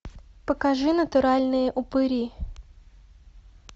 покажи натуральные упыри